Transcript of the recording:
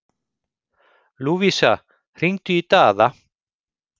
Lúvísa, hringdu í Daða.